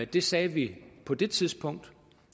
det sagde vi på det tidspunkt